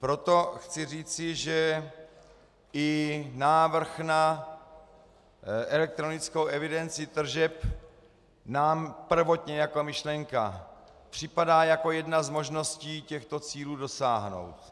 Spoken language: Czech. Proto chci říci, že i návrh na elektronickou evidenci tržeb nám prvotně jako myšlenka připadá jako jedna z možností těchto cílů dosáhnout.